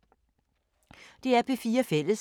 DR P4 Fælles